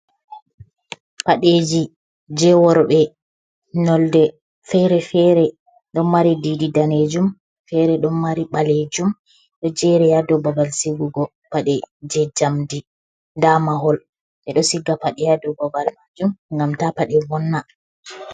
Padeji je worbee nolde fere fere, ɗon mari didi danejum fere ɗon mari ɓalejum, ɗo jeri ha dou babal sigugo paɗe je jamdi, nda mahol ɓeɗo siga paɗe ha dou babal majum ngam ta paɗe vonna.